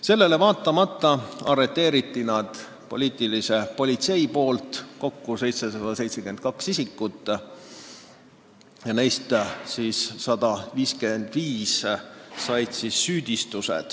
Sellele vaatamata arreteeris poliitiline politsei kokku 772 isikut ja neist 155 said süüdistuse.